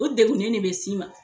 U degunnen ne be s'i ma